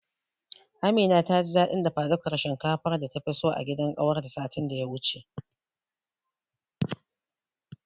Amina taji dadin dafadukar shinkafar data fi so a gidan kawarta satin daya wuce.